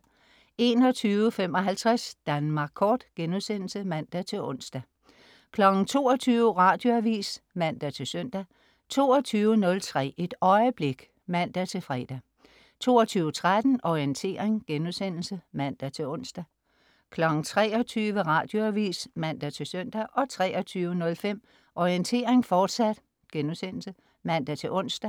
21.55 Danmark Kort* (man-ons) 22.00 Radioavis (man-søn) 22.03 Et øjeblik (man-fre) 22.13 Orientering* (man-ons) 23.00 Radioavis (man-søn) 23.05 Orientering, fortsat* (man-ons)